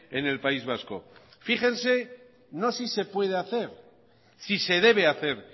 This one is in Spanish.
en el país vasco fíjense no si se puede hacer si se debe hacer